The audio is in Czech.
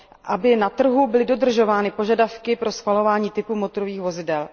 aby na trhu byly dodržovány požadavky pro schvalování typu motorových vozidel.